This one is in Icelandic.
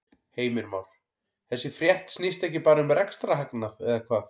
Heimir Már: Þessi frétt snýst ekki bara um rekstrarhagnað eða hvað?